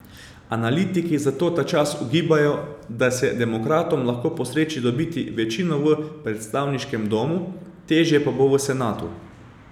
Analitiki zato ta čas ugibajo, da se demokratom lahko posreči dobiti večino v predstavniškem domu, težje pa bo v senatu.